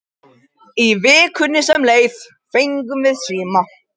Í vikunni sem leið fengum við síma.